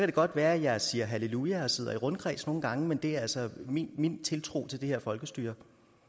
det godt være at jeg siger halleluja og sidder i rundkreds nogle gange men det er altså min tiltro til det her folkestyre